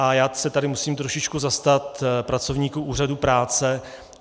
A já se tady musím trošičku zastat pracovníků úřadů práce.